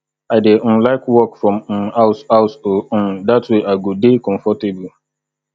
i dey um like work from um house house oo um dat way i go dey comfortable